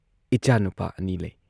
ꯏꯆꯥꯅꯨꯄꯥ ꯑꯅꯤ ꯂꯩ ꯫